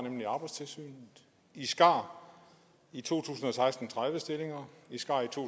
nemlig arbejdstilsynet i skar i to tusind og seksten tredive stillinger i skar i to